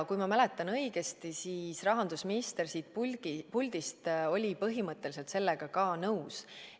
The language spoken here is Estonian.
Kui ma mäletan õigesti, siis rahandusminister siit puldist oli põhimõtteliselt sellega ka nõus.